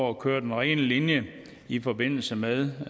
at køre den rene linje i forbindelse med